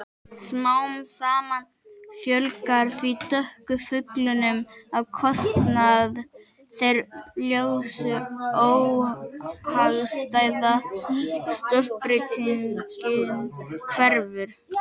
Smám saman fjölgar því dökku fuglunum á kostnað þeirra ljósu- óhagstæða stökkbreytingin hverfur.